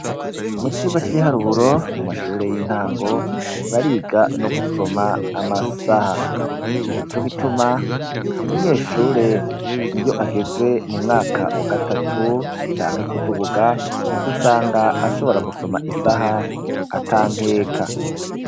Mu cigwa c'ibiharuburo mu mashure y'intango bariga no gusoma amasaha nico gituma umunyeshure iyo ageze mu mwaka wa gatatu canke kuduguga usanga ashobora gusoma isaha atankeka.